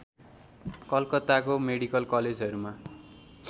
कलकत्ताको मेडिकल कलेजहरूमा